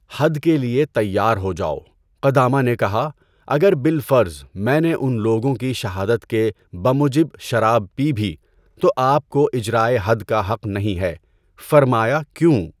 حد کے لیے تیار ہو جاؤ، قدامہ نے کہا، اگر بالفرض میں نے ان لوگوں کی شہادت کے بموجب شراب پی بھی تو آپ کو اِجرائے حد کا حق نہیں ہے۔ فرمایا کیوں؟